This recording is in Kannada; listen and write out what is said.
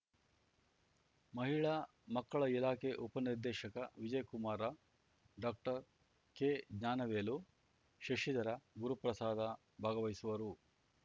ಮಹಿಳಾ ಮಕ್ಕಳ ಇಲಾಖೆ ಉಪ ನಿರ್ದೇಶಕ ವಿಜಯಕುಮಾರ ಡಾಕ್ಟರ್ಕೆಜ್ಞಾನವೇಲು ಶಶಿಧರ ಗುರುಪ್ರಸಾದ ಭಾಗವಹಿಸುವರು